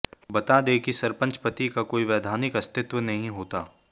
बता दें कि सरपंच पति का कोई वैधानिक अस्तित्व नहीं होता